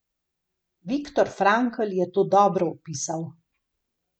Viktor Frankl je to dobro opisal.